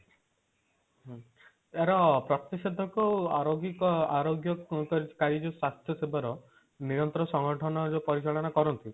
ହଁ ଆରା ପ୍ରତି ଶୋଧକ ଅରୋଗୀକ ଆରୋଗ୍ୟ କାରି ଯୋଉ ସ୍ୱାସ୍ଥ୍ୟ ସେବାର ନିୟନ୍ତ୍ର ସଂଗଠନ ଯୋଉ ପରିଚାଳନ କରନ୍ତି